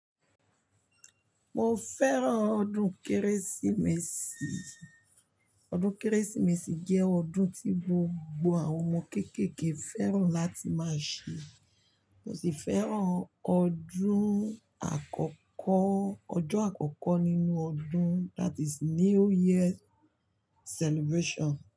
Mo fẹ́ràn ọdún Kérésìmesì. Ọdún Kérésìmesì jẹ́ ọdún tí gbogbo àwọn ọmọ kéékèèké fẹ́ràn láti máa ṣe. Mo sì fẹ́ràn ọdún àkọ́kọ́, ọjọ́ àkọ́kọ́ nínú ọdún, that is New Year celebration.